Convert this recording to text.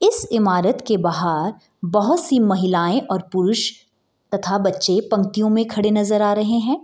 इस ईमारत के बाहर बहुत सी महिलाये और पुरुष तथा बच्चे पंक्तियों में खड़े हुए नजर आ रहे हैं